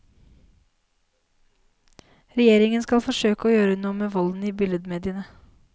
Regjeringen skal forsøke å gjøre noe med volden i billedmediene.